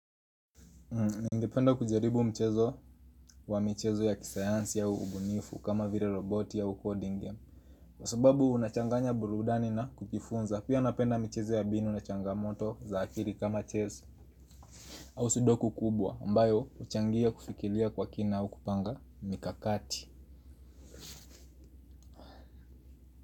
Ningependa kujaribu mchezo wa michezo ya kisayansi au ubunifu kama vile roboti au coding game. Kwa sababu unachanganya burudani na kujifunza. Pia napenda mchezo ya mbinu na changamoto za akili kama chess. Au sudoku kubwa ambayo uchangia kufikiria kwa kina au kupanga mikakati.